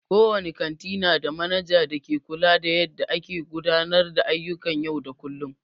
Kowane kanti nada manaja da ke kula da yadda a ke gudanar da ayyukan yau da kullum.